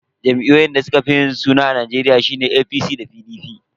Jam'iyyun da suka fi yin suna a Najeriya sune jam'iyyar APC da jam'iyyar PDP.